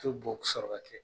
U te bo sɔrɔɔ ka kɛ